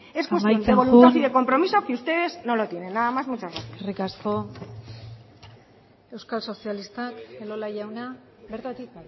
amaitzen joan es cuestión de voluntad y de compromiso que ustedes no lo tienen nada más muchas gracias eskerrik asko euskal sozialistak elola jauna bertatik